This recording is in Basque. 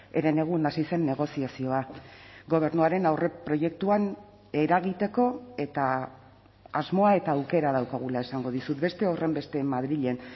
herenegun hasi zen negoziazioa gobernuaren aurreproiektuan eragiteko eta asmoa eta aukera daukagula esango dizut beste horrenbeste madrilen